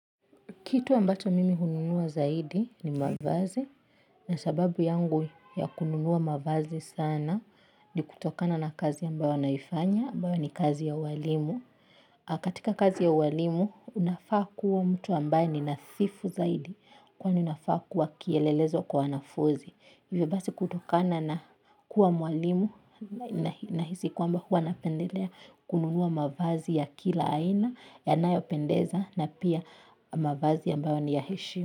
Kitu ambacho mimi hununua zaidi ni mavazi na sababu yangu ya kununua mavazi sana ni kutokana na kazi ambayo ninaifanya ambayo ni kazi ya ualimu. Katika kazi ya ualimu, unafaa kuwa mtu ambaye ni nadhifu zaidi kwani unafaa kuwa kielelezo kwa wanafunzi. Hivyo basi kutokana na kuwa mwalimu nahisi kwamba huwa napendelea kununua mavazi ya kila aina yanayopendeza na pia mavazi ambayo ni ya heshima.